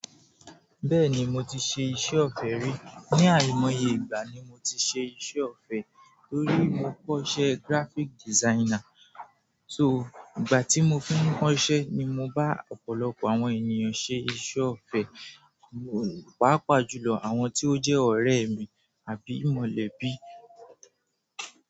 Bẹ́ẹ̀ni mo ti ṣe iṣẹ́ ọ̀fẹ́ rí. Ni àìmọye ìgbà ni mo ti ṣe iṣẹ́ ọ̀fẹ́ tórí mo kọ́ṣẹ́ graphic designer. So, ìgbà tí mo fún un kọ́ iṣẹ́ ni mo bá ọ̀pọ̀lọpọ̀ àwọn ènìyàn ṣe iṣẹ́ ọ̀fẹ́, pàápàá jùlọ àwọn tí ó jẹ́ ọ̀rẹ́ mi àbí mọ̀lẹ́bí.